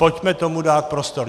Pojďme tomu dát prostor!